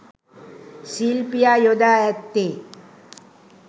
ශිල්පියා යොදා ඇත්තේ